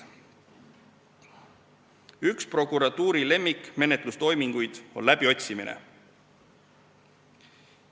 Üks prokuratuuri lemmikmenetlustoiminguid on läbiotsimine.